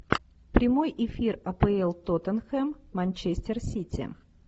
прямой эфир апл тотенхем манчестер сити